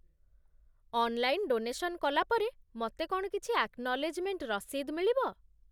Online donation କଲା ପରେ ମତେ କ'ଣ କିଛି ଆକ୍ନଲେଜ୍‌ମେଣ୍ଟ୍ ରସିଦ୍ ମିଳିବ?